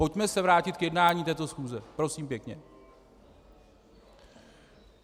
Pojďme se vrátit k jednání této schůze, prosím pěkně.